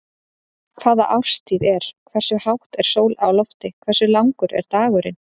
Hvaða árstíð er, hversu hátt er sól á lofti, hversu langur er þá dagurinn?